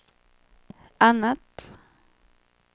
annat